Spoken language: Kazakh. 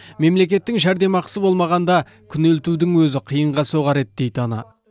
мемлекеттің жәрдемақысы болмағанда күнелтудің өзі қиынға соғар еді дейді ана